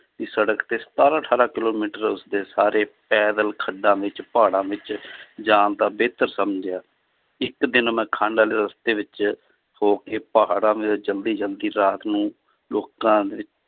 ਦੀ ਸੜਕ ਤੇ ਸਤਾਰਾਂ ਅਠਾਰਾਂ ਕਿੱਲੋਮੀਟਰ ਉਸਦੇ ਸਾਰੇ ਪੈਦਲ ਖੱਡਾਂ ਵਿੱਚ ਪਹਾੜਾਂ ਵਿੱਚ ਜਾਣ ਦਾ ਬਿਹਤਰ ਸਮਝਿਆ, ਇੱਕ ਦਿਨ ਮੈਂ ਵਾਲੇ ਰਸਤੇ ਵਿੱਚ ਹੋ ਕੇ ਪਹਾੜਾਂ ਜ਼ਲਦੀ ਜ਼ਲਦੀ ਰਾਤ ਨੂੰ ਲੋਕਾਂ ਦੇ